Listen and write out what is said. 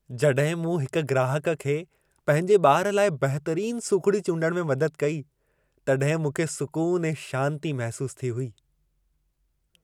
जॾहिं मूं हिक ग्राहक खे पंहिंजे ॿार लाइ बहितरीन सूखिड़ी चूंडणु में मदद कई, तॾहिं मूंखे सूकुन ऐं शांती महिसूसु थी हुई।